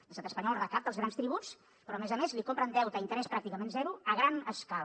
l’estat espanyol recapta els grans tributs però a més a més li compren deute a interès pràcticament zero a gran escala